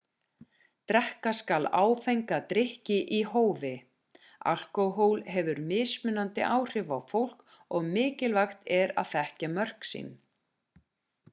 drekka skal áfenga drykki í hófi alkóhól hefur mismunandi áhrif á fólk og mikilvægt er að þekkja sín mörk